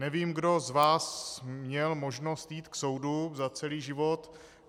Nevím, kdo z vás měl možnost jít k soudu za celý život.